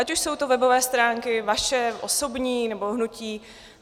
Ať už jsou to webové stránky vaše osobní, nebo hnutí.